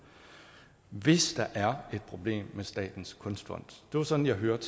hvis der er et problem med statens kunstfond sådan hørte